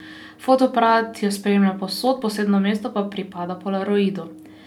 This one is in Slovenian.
Fotoaparat jo spremlja povsod, posebno mesto pa pripada polaroidu.